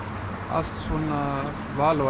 allt val á